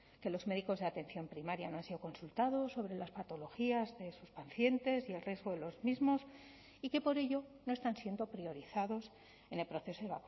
que los médicos de atención primaria no han sido consultados sobre las patologías de sus pacientes y el riesgo de los mismos y que por ello no están siendo priorizados en el proceso de